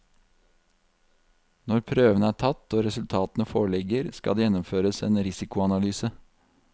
Når prøvene er tatt og resultatene foreligger, skal det gjennomføres en risikoanalyse.